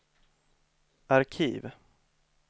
arkiv